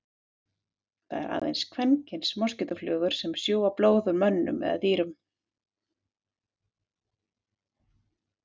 Það eru aðeins kvenkyns moskítóflugur sem sjúga blóð úr mönnum eða dýrum.